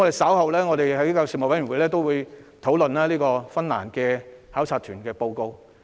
稍後我們會在教育事務委員會討論有關芬蘭教育的考察團報告。